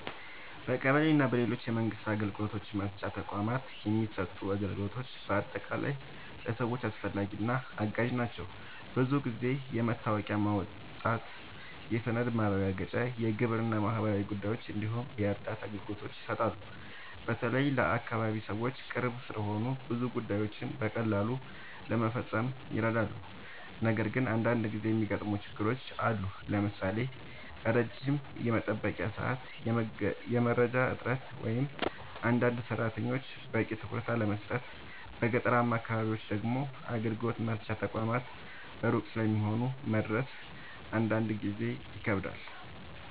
በቀበሌ እና በሌሎች የመንግስት አገልግሎት መስጫ ተቋማት የሚሰጡ አገልግሎቶች በአጠቃላይ ለሰዎች አስፈላጊ እና አጋዥ ናቸው። ብዙ ጊዜ የመታወቂያ ማውጣት፣ የሰነድ ማረጋገጫ፣ የግብር እና ማህበራዊ ጉዳዮች እንዲሁም የእርዳታ አገልግሎቶች ይሰጣሉ። በተለይ ለአካባቢ ሰዎች ቅርብ ስለሆኑ ብዙ ጉዳዮችን በቀላሉ ለመፈጸም ይረዳሉ። ነገር ግን አንዳንድ ጊዜ የሚገጥሙ ችግሮችም አሉ፣ ለምሳሌ ረጅም የመጠበቂያ ሰዓት፣ የመረጃ እጥረት ወይም አንዳንድ ሰራተኞች በቂ ትኩረት አለመስጠት። በገጠራማ አካባቢዎች ደግሞ አገልግሎት መስጫ ተቋማት ሩቅ ስለሚሆኑ መድረስ አንዳንድ ጊዜ ይከብዳል።